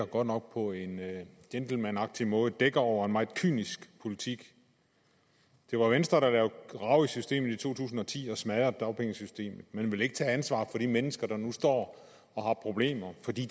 godt nok på en gentlemanagtig måde dækker over en meget kynisk politik det var venstre der lavede rav i systemet i to tusind og ti og smadrede dagpengesystemet men de vil ikke tage ansvaret for de mennesker der nu står og har problemer fordi